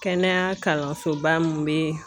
Kɛnɛya kalansoba min bɛ